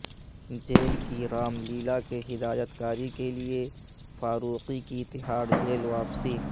jail کی رام لیلا کے ہدایت کاری کے لئے فاروقی کی تہاڑ جیل واپسی